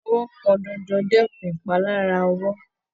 ìbọ̀wọ́ pọn dandan dẹkùn ìpalára ọwọ́..